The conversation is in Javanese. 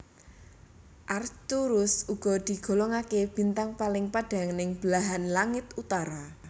Arcturus uga digolongaké bintang paling padhang ning belahan langit utara